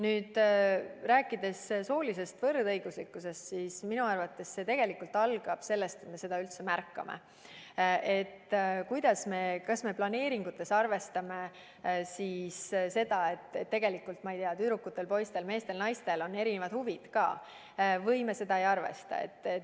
Kui rääkida soolisest võrdõiguslikkusest, siis minu arvates see tegelikult algab sellest, et me seda üldse märkame, st kas me planeeringutes arvestame seda, et tegelikult on, ma ei tea, tüdrukutel-poistel-meestel-naistel ka erinevad huvid, või me seda ei arvesta.